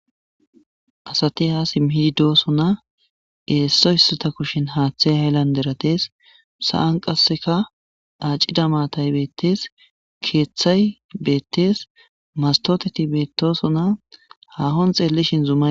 Adati ha simi yidosona issi issota kushen hathey haylandera dees sa'an qaseka acida maatay betes keethay betes mastoteti beetosona hahon xelishin zumay